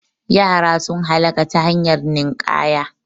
Yara sun halaka ta hanyar ninƙaya